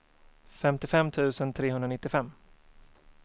femtiofem tusen trehundranittiofem